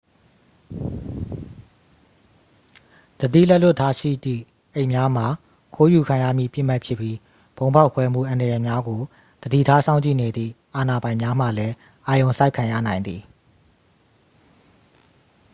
သတိလက်လွတ်ထားရှိသည့် အိတ်များမှာ ခိုးယူခံရမည့် ပစ်မှတ်ဖြစ်ပြီး ဗုံးဖောက်ခွဲမှုအန္တရာယ်များကို သတိထားစောင့်ကြည့်နေသည့် အာဏာပိုင်များမှလည်း အာရုံစိုက်ခံရနိုင်သည်